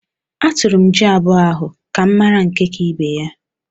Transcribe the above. Atụrụ m jị abụọ ahụ ka m mara nke ka ibe ya.